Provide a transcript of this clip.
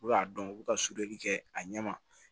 U bɛ k'a dɔn u bɛ ka kɛ a ɲɛma